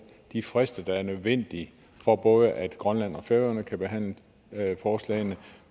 de frister der er nødvendige for at både grønland og færøerne kan behandle forslagene